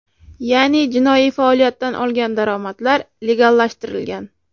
Ya’ni, jinoiy faoliyatdan olgan daromadlar legallashtirilgan.